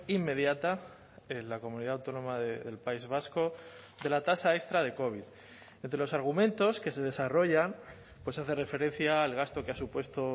inmediata en la comunidad autónoma del país vasco de la tasa extra de covid entre los argumentos que se desarrollan pues hace referencia al gasto que ha supuesto